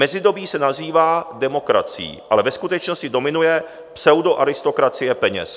Mezidobí se nazývá demokracií, ale ve skutečnosti dominuje pseudoaristokracie peněz."